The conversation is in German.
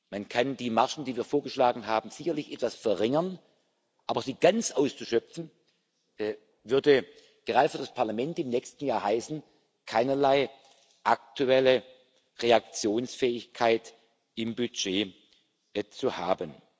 Man kann die Margen, die wir vorgeschlagen haben, sicherlich etwas verringern, aber sie ganz auszuschöpfen, würde gerade für das Parlament im nächsten Jahr heißen, keinerlei aktuelle Reaktionsfähigkeit im Budget zu haben.